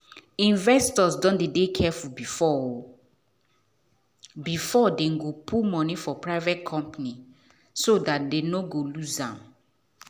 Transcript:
investors don dey careful before before dem put money for private companies so dat dem no go lose.